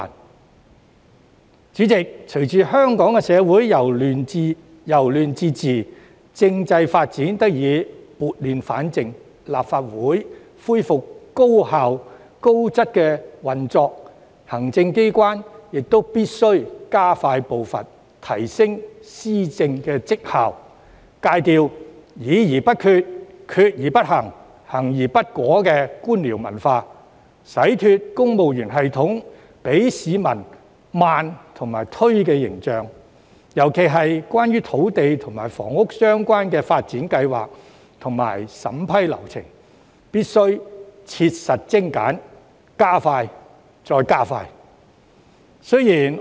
代理主席，隨着香港社會由亂至治，政制發展得以撥亂反正，立法會恢復高效、高質的運作，行政機關亦必須加快步伐，提升施政績效，戒掉議而不決、決而不行、行而不果的官僚文化，洗脫公務員系統給市民緩慢和推卸的形象，尤其是在土地及房屋相關的發展計劃和審批流程方面，更必須切實精簡，加快後再加快。